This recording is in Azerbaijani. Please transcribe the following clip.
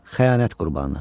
Xəyanət qurbanı.